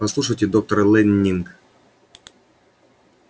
послушайте доктор лэннинг